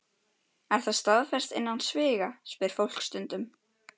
Er það staðfest innan sviga? spyr fólk stundum.